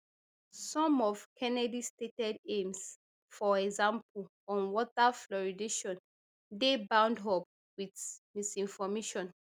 some of kennedy stated aims for example on water fluoridation dey bound up wit misinformation